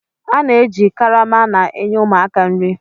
A na-eji karama na-enye ụmụaka nri.